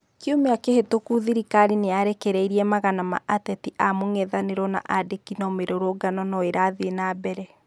Kiumĩa kĩhĩtũku thirikari nĩyarekereirie magana ma ateti a mũng'ethanĩro na andĩkĩ no mĩrũrũngano no ĩrathire na mbere